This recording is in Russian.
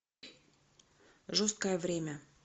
жесткое время